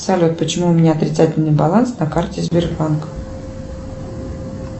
салют почему у меня отрицательный баланс на карте сбербанка